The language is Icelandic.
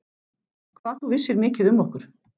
Hvað þú vissir mikið um okkur.